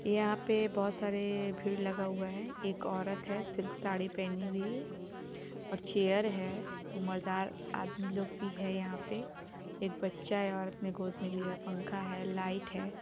यहां पे बहुत सारे भीड़ लगा हुआ है एक औरत है सिल्क साड़ी पहनी हुई है और चेयर है ऊमरदार आदमी लोग भी है यहां पे । एक बच्चा औरत ने गोद मे लिया पंखा है लाइट है।